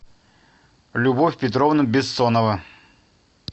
любовь петровна бессонова